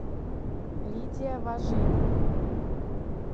лидия воженина